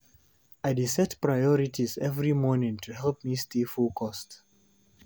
I dey set priorities every morning to help me stay focused.